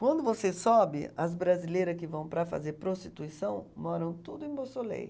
Quando você sobe, as brasileira que vão para fazer prostituição moram tudo em Boussoleil.